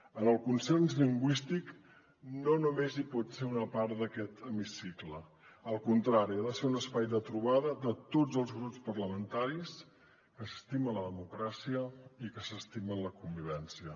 en el consens lingüístic no només hi pot ser una part d’aquest hemicicle al contrari ha de ser un espai de trobada de tots els grups parlamentaris que s’estimen la democràcia i que s’estimen la convivència